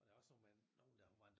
Og der var såmænd nogen der